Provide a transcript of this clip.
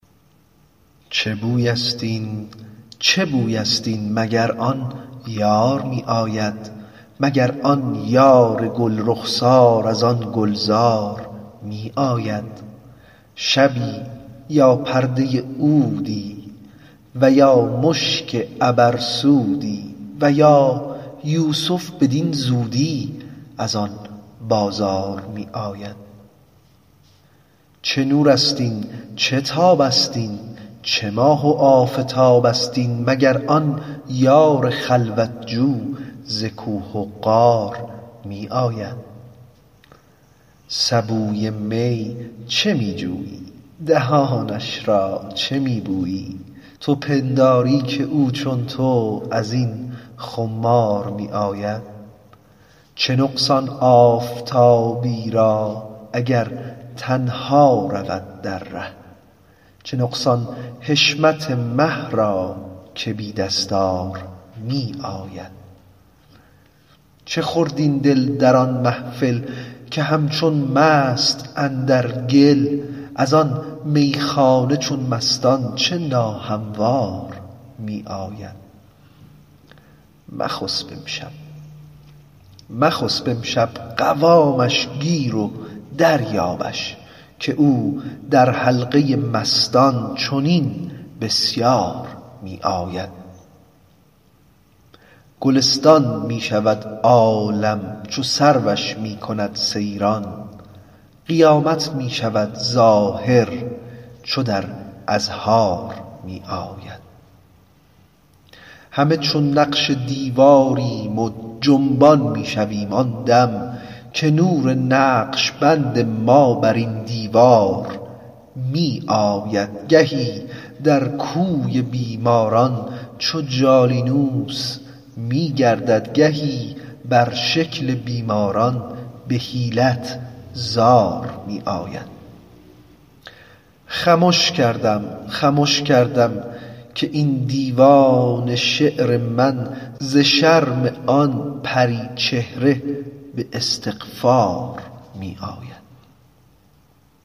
چه بویست این چه بویست این مگر آن یار می آید مگر آن یار گل رخسار از آن گلزار می آید شبی یا پرده عودی و یا مشک عبرسودی و یا یوسف بدین زودی از آن بازار می آید چه نورست این چه تابست این چه ماه و آفتابست این مگر آن یار خلوت جو ز کوه و غار می آید سبوی می چه می جویی دهانش را چه می بویی تو پنداری که او چون تو از این خمار می آید چه نقصان آفتابی را اگر تنها رود در ره چه نقصان حشمت مه را که بی دستار می آید چه خورد این دل در آن محفل که همچون مست اندر گل از آن میخانه چون مستان چه ناهموار می آید مخسب امشب مخسب امشب قوامش گیر و دریابش که او در حلقه مستان چنین بسیار می آید گلستان می شود عالم چو سروش می کند سیران قیامت می شود ظاهر چو در اظهار می آید همه چون نقش دیواریم و جنبان می شویم آن دم که نور نقش بند ما بر این دیوار می آید گهی در کوی بیماران چو جالینوس می گردد گهی بر شکل بیماران به حیلت زار می آید خمش کردم خمش کردم که این دیوان شعر من ز شرم آن پری چهره به استغفار می آید